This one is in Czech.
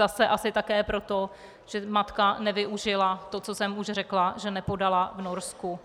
Zase asi také proto, že matka nevyužila to, co jsem už řekla, že nepodala v Norsku